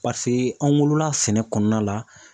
an wolola sɛnɛ kɔnɔna la